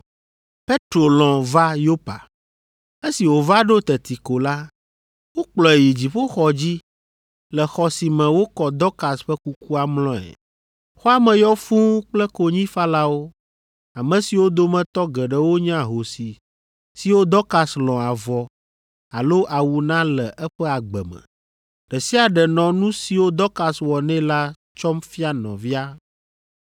Petro lɔ̃ va Yopa. Esi wòva ɖo teti ko la, wokplɔe yi dziƒoxɔ dzi le xɔ si me wokɔ Dɔkas ƒe kukua mlɔe. Xɔa me yɔ fũu kple konyifalawo, ame siwo dometɔ geɖewo nye ahosi siwo Dɔkas lɔ̃ avɔ alo awu na le eƒe agbe me. Ɖe sia ɖe nɔ nu siwo Dɔkas wɔ nɛ la tsɔm fia nɔvia.